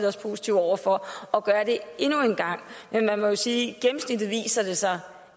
os positive over for at gøre det endnu engang men man må sige at det viser sig